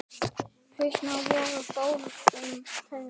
Hnausar voru okkur báðum kærir.